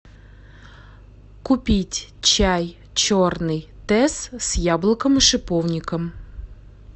купить чай черный тесс с яблоком и шиповником